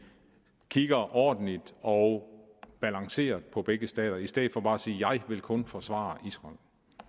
kigger ordentligt og balanceret på begge stater i stedet for bare at sige jeg vil kun forsvare israel